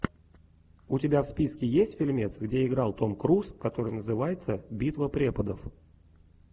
у тебя в списке есть фильмец где играл том круз который называется битва преподов